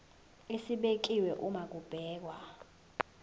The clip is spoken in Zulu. esibekiwe uma kubhekwa